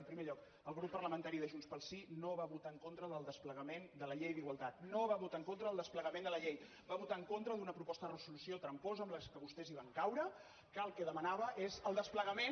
en primer lloc el grup parlamentari de junts pel sí no va votar en contra del desplegament de la llei d’igualtat no va votar en contra del desplegament de la llei va votar en contra d’una proposta de resolució tramposa en què vostès van caure que el que demanava és el desplegament